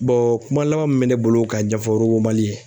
kuma laban min bɛ ne bolo ka ɲɛfɔ Robotsmali ye